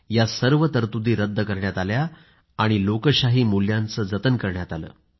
या सर्व तरतुदी रद्द करण्यात आल्या आणि लोकशाही मूल्यांचं जतन करण्यात आलं